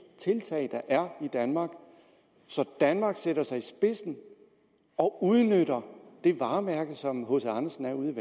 tiltag der er i danmark så danmark sætter sig i spidsen og udnytter det varemærke som hc andersen er ude